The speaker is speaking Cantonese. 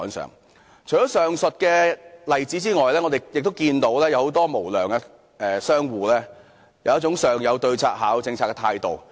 除了上述例子外，我們亦看到很多無良商戶有一種"上有對策、下有政策"的態度。